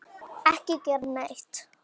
Ekki gera neitt.